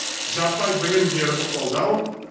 жаппай білім беруді қолдау